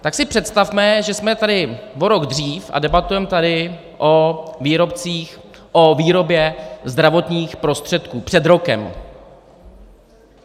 Tak si představme, že jsme tady o rok dřív a debatujeme tady o výrobě zdravotních prostředků - před rokem.